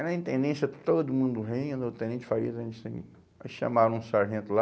Aí na intendência, todo mundo rindo, o tenente, aí chamaram um sargento lá.